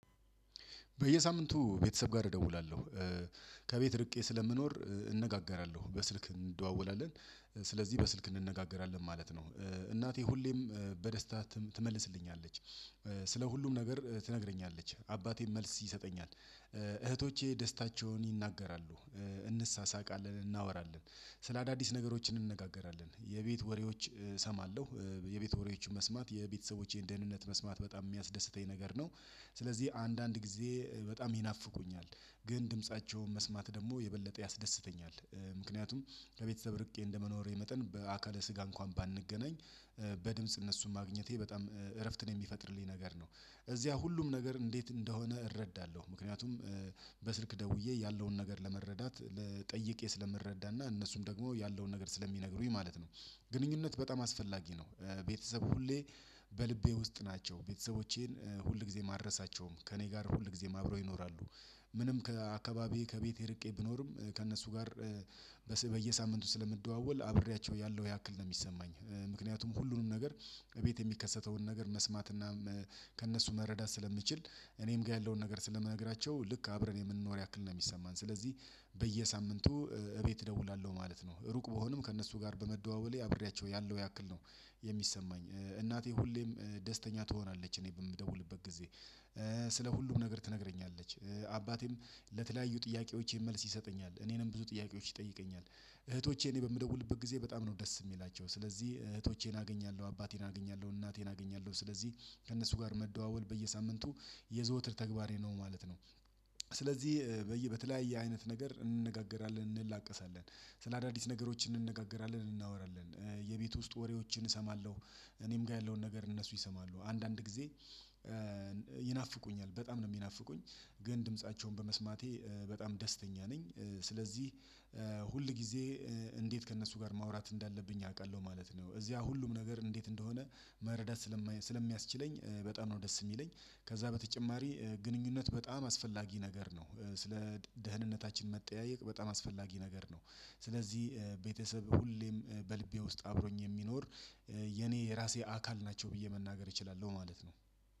በየሳምንቱ ቤተሰብ ጋር እደውላለሁ ከቤት ርቄ ስለምኖር እንነጋገራለሁ በስልክ እንደዋወላለን። ስለዚህ በስልክ እንነጋገራለን ማለት ነው። እናቴ ሁሌም በደስታ ትመልስልኛለች። ስለ ሁሉም ነገር ትነግረኛለች አባቴም መልስ ይሰጠኛል። እህቶቼ ደስታቸውን ይናገራሉ። እንሳሳቃለን እናወራለን ስለ አዳዲስ ነገሮች እንነጋገራለን የቤት ወሬዎች እሰማለሁ። የቤተ ወሬዎች መስማት የቤተሰቦቼን ደህንነት መስማት በጣም የሚያስደስተኝ ነገር ነው። ስለዚህ አንዳንድ ጊዜ በጣም ይናፍቁኛል ግን ድምፃቸውን መስማት ደግሞ የበለጠ ያስደስተኛል። ምክንያቱም ከቤተሰብ ርቄ እንደመኖሬ መጠን በአካለ ስጋ እንኳን ባንገናኝ። በድምጽ እነሱን ማግኘቴ በጣም እረፍትን የሚፈጥርልኝ ነገር ነው። እዚያ ሁሉም ነገር እንዴት እንደሆነ እረዳለሁ ምክንያቱም በስልክ ደውዬ ያለውን ነገር ለመረዳት ጠይቄ ስለምረዳና እነሱም ደግሞ ያለውን ነገር ስለሚነግሩኝ ማለት ነው። ግንኙነት በጣም አስፈላጊ ነው። በቤተሰብ ሁሌ በልቤ ውስጥ ናቸው ቤተሰቦቼን ሁልጊዜም አልረሳቸውም ከእኔ ጋር ሁልጊዜ አብረው ይኖራሉ። ምንም ከአካባቢዬ ከቤቴ ርቄ ብኖርም ከእነሱ ጋር። በየሳምንቱ ስለምደዋወል አብሬያቸው ያለው ያክል ነው የሚሰማኝ። ምክንያቱም ሁሉንም ነገር እቤት የሚከሰተውን ነገር መስማት እና ከእነሱ መረዳት ስለምችል። እኔም ጋር ያለውን ነገር ስለምነግራቸው ልክ አብረን የምንኖር ያክል ነው የሚሰማን ስለዚህ። በየሳምንቱ እቤት እደውላለሁ ማለት ነው ሩቅ ብሆንም ከእነሱ ጋር በመደዋወሌ አብሬያቸው ያለው ያክል ነው። የሚሰማኝ እናቴ ሁሌም ደስተኛ ትሆናለች እኔ በምደውልበት ጊዜ ስለ ሁሉም ነገር ትነግረኛለች። አባቴም ለተለያዩ ጥያቄዎቼ መልስ ይሰጠኛል እኔንም ብዙ ጥያቄዎች ይጠይቀኛል። እህቶቼ እኔ በምደውልበት ጊዜ በጣም ነው ደስ የሚላቸው ስለዚህ እህቶቼን አገኛለሁ አባቴን አገኛለሁ እናቴን አገኛለሁ ስለዚህ ከእነሱ ጋር መደዋወል በየሳምንቱ የዘወትር ተግባሬ ነው ማለት ነው። ስለዚህ በተለያየ አይነት ነገር እንነጋገራለን እንላቀሳለን ስለ አዳዲስ ነገሮች እንነጋገራለን እናወራለን የቤት ውስጥ ወሬዎችን እሰማለሁ። እኔም ጋር ያለውን ነገር እነሱ ይሰማሉ አንዳንድ ጊዜ ይናፍቁኛል በጣም ነው የሚናፍቁኝ። ግን ድምፃቸውን በመስማቴ በጣም ደስተኛ ነኝ። ስለዚህ ሁልጊዜ እንዴት ከእነሱ ጋር ማውራት እንዳለብኝ አውቃለሁ ማለት ነው። እዚያ ሁሉም ነገር እንዴት እንደሆነ መረዳት ስለሚያስችለኝ በጣም ነው ደስ የሚለኝ። ከዛ በተጨማሪ ግንኙነት በጣም አስፈላጊ ነገር ነው። ስለ ደህንነታችን መጠያየቅ በጣም አስፈላጊ ነገር ነው። ስለዚህ ቤተሰብ ሁሌም በልቤ ውስጥ አብሮኝ የሚኖር የኔ የራሴ አካል ናቸው ብዬ መናገር እችላለሁ ማለት ነው።